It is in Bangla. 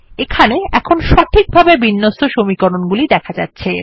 এখানে এখন সঠিকভাবে বিন্যস্ত সমীকরণ গুলি দেখা যাচ্ছে